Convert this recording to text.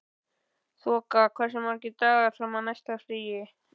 Þoka, hversu margir dagar fram að næsta fríi?